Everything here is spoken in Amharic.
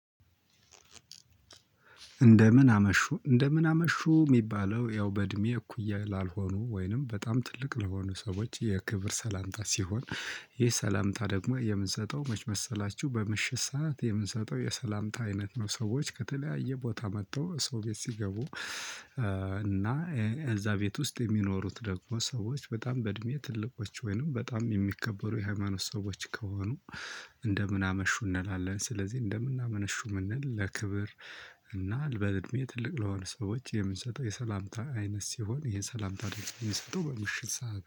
እንደምን አመሹ እንደምን አመሹ ሚባለው ያው በድሜ እኩያ ላልሆኑ ውይም በጣም ጥልቅ ለሆኑ ሰዎች የክብር ሰላምታ ሲሆን ይህ ሰላምታ ደግሞየምንሰጠው መች መሰልአችሁ? በምሽት ስዓት የሰላምታ አይነት ነው። ሰዎች ከተለያየ ቦህታ ምጥተው ሰው ቤት ሲገቡ። እ እና እዛ ቤት ውስጥ የሚኖሩት ደግሞ ሰዎች በጣም በእድሜ ትልቆች ወይንም በጣም የሚከበሩ የሃይማኖት ሰዎች ከሆኑ። እንደምን አመሹ እንላለን። ስለዚህ እንደምናመነሹ የምንል ለክብር፣ እና በእድሜ ትልቅ ለሆነ ሰዎች የምንሰጠው የሰላምታ አይነት ሲሆን ይሄ ሰላምታ የምንሰጠው በምሽት ሰዓት